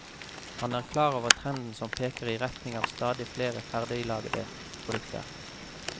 Han er klar over trenden som peker i retning av stadig flere ferdiglagede produkter.